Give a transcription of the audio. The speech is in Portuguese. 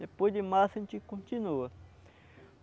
Depois de março a gente continua.